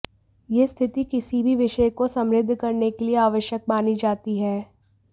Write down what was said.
यह स्थिति किसी भी विषय को समृद्ध करने के लिए आवश्यक मानी जाती है